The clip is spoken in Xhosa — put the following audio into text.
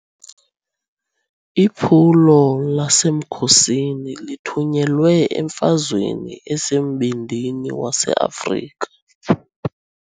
Iphulo lasemkhosini lithunyelwe emfazweni esembindini waseAfrika.